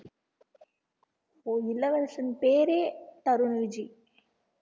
ஓ இளவரசன் பேரே தருண்விஜி